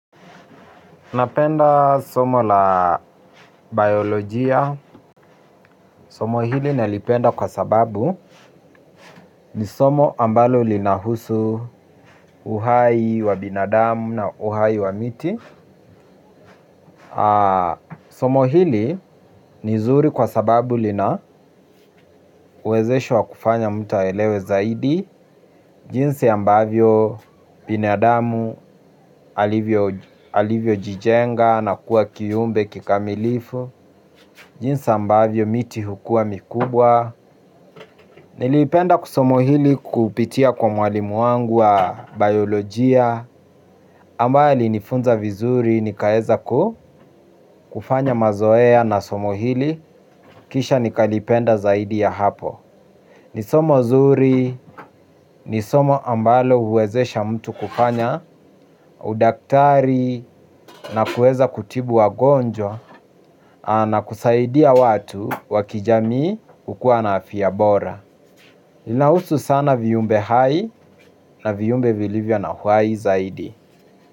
Napenda somo la biolojia, somo hili nalipenda kwa sababu ni somo ambalo linahusu uhai wa binadamu na uhai wa miti. Somo hili ni zuri kwa sababu lina uwezesho wa kufanya mtu aelewe zaidi. Jinsi ambavyo binadamu alivyojijenga na kuwa kiumbe kikamilifu. Jinse ambavyo miti hukua mikubwa. Nilipenda kisomo hili kupitia kwa mwalimu wangu wa biolojia ambaye alinifunza vizuri nikaeza kufanya mazoea na somo hili. Kisha nikalipenda zaidi ya hapo. Ni somo zuri, nisomo ambalo huwezesha mtu kufanya udaktari na kueza kutibu wagonjwa na kusaidia watu wa kijamii kukua na afya bora. Linahusu sana viumbe hai na viumbe vilivyo na uhai zaidi.